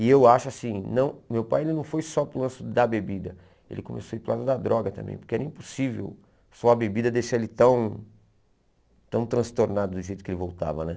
E eu acho assim, não meu pai ele não foi só para o lance da bebida, ele começou a ir para o lado da droga também, porque era impossível só a bebida deixar ele tão tão transtornado do jeito que ele voltava né.